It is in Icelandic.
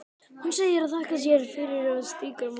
Hún segir bara: þakka þér fyrir, og strýkur mér vangann.